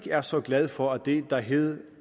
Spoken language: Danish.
er så glad for at det der hed